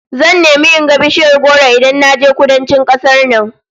Zan nemi in ga bishiyar goro Idan naje Kudancin kasar nan